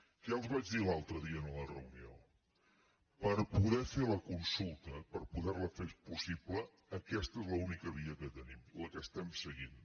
què els vaig dir l’altre dia en la reunió per poder fer la consulta per poder la fer possible aquesta és l’única via que tenim la que estem seguint